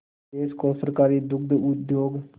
देश को सहकारी दुग्ध उद्योग